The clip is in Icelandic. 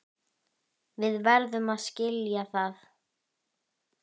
Við verðum að skilja það.